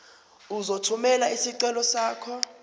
uzothumela isicelo sakho